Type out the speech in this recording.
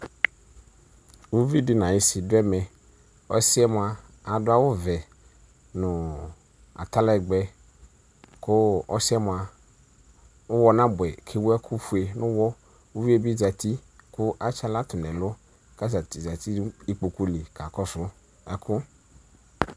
Ʋviɖi nayisi ɖʋ ɛmɛƆsiɛ moa aɖʋ awu vɛ nʋ atalɛgbɛ kʋ ɔsiɛ moa ʋwɔ n'abʋɛ k'ewu ɛkʋ fue n'ʋwɔƲviebi zeti kʋ atsaɣlatʋ n'ɛlʋ k'atani zati n'ikpokuli k'akɔksʋ ɛkʋ